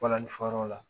Balani fɔyɔrɔ la